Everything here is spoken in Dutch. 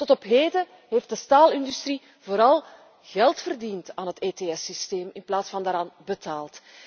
Tot op heden heeft de staalindustrie vooral geld verdiend aan het ETS systeem in plaats van eraan betaald.